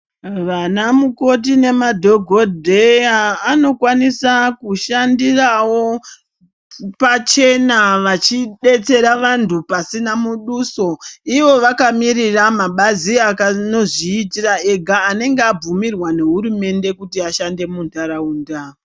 Vanamukoti nemadhokodheya anokwanisawo kushandirawo pachena vachidetsera vanthu pasina muduso. Ivo vakamirira mabazi anozviitira ega anenge abvumirwa nehurumende kuti ashande muntharaunda.